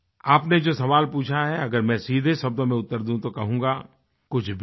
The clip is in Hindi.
आपने जो सवाल पूछा है अगर मैं सीधे शब्दों में उत्तर दूँ तो कहूँगा कुछ भी नहीं